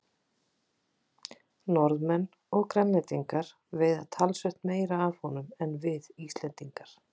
Norðmenn og Grænlendingar veiða talsvert meira af honum en við Íslendingar.